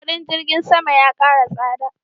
kudin jirgin sama ya kara tsada